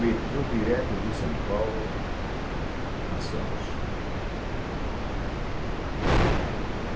Metrô direto de São Paulo a Santos.